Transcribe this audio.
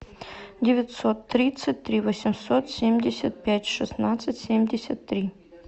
девятьсот тридцать три восемьсот семьдесят пять шестнадцать семьдесят три